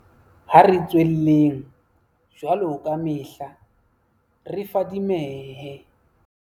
Ha re tswelleng, jwaloka kamehla, re fadimehe.